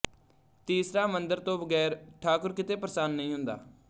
ਤੀਸਰਾ ਮੰਦਰ ਤੋਂ ਬਗੈਰ ਠਾਕੁਰ ਕਿਤੇ ਪ੍ਰਸੰਨ ਨਹੀਂ ਹੁੰਦਾ